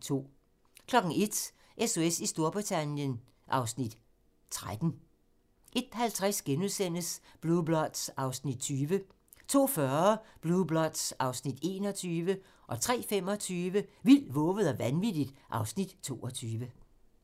01:00: SOS i Storbritannien (Afs. 13) 01:50: Blue Bloods (Afs. 20)* 02:40: Blue Bloods (Afs. 21) 03:25: Vildt, vovet og vanvittigt (Afs. 22)